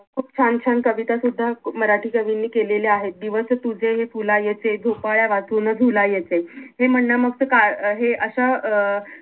खूप छान - छान कविता सुद्धा मराठी कवींनी केलेल्या आहेत दिवस तुझे हे फुलायचे झोपाळ्या वाचून झुलायचे हे म्हणण्या मागचं कारण अं हे असं अं